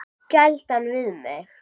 Gæla við mig.